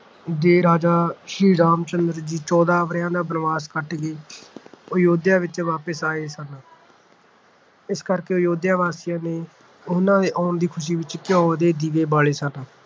ਦੇ ਰਾਜਾ ਸ੍ਰੀ ਰਾਮ ਚੰਦਰ ਜੀ ਚੌਦਾਂ ਵਰਿਆਂ ਦਾ ਬਨਵਾਸ ਕੱਟ ਕੇ ਅਯੁੱਧਿਆ ਵਿੱਚ ਵਾਪਸ ਆਏ ਸਨ ਇਸ ਕਰਕੇ ਅਯੁੱਧਿਆ ਵਾਸੀਆਂ ਨੇ ਉਹਨਾਂ ਦੇ ਆਉਣ ਦੀ ਖੁਸ਼ੀ ਵਿੱਚ ਘਿਉ ਦੇ ਦੀਵੇ ਬਾਲੇ ਸਨ ।